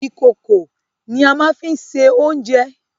Ìkòkò ni a máa fín ṣe oúnjẹ.